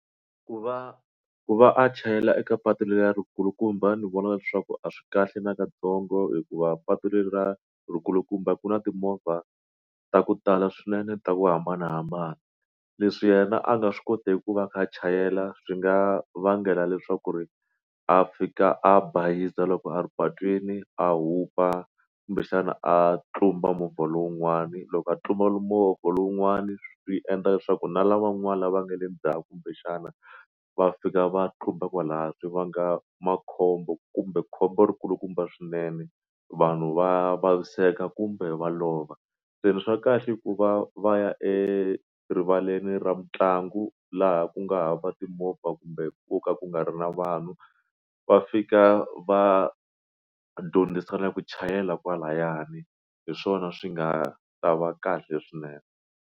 Ku va ku va a chayela eka patu leri kulukumba ni vona leswaku a swi kahle na katsongo hikuva patu leriyi ri nkulukumba ku na timovha ta ku tala swinene ta ku hambanahambana leswi yena a nga swi koteki ku va a kha a chayela swi nga vangela leswaku ri a fika a bayiza loko a ri patwini a hupa kumbexana a tlumba movha lowun'wani loko a tlumbile mimovha lowun'wani swi endla leswaku na lavan'wana lava nga le ndzhaku kumbexana va fika va tlumba kwalaho swi vanga makhombo kumbe khombo ri kulukumba swinene vanhu va vaviseka kumbe va lova se swa kahle i ku va va ya erivaleni ra mitlangu laha ku nga ha va timovha kumbe ku ka ku nga ri na vanhu va fika va dyondzisana ku chayela kwalayani hi swona swi nga ta va kahle swinene.